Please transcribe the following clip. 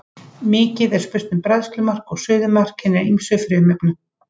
Mikið er spurt um bræðslumark og suðumark hinna ýmsu frumefna.